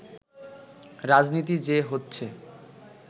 রাজনীতি যে হচ্ছে